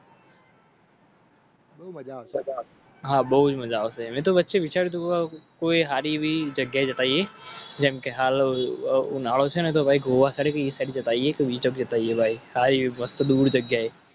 હા બહુ મજા આવશે. કોઈ સારી જગ્યાએ જેમ કેહાલ.